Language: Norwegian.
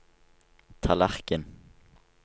tallerken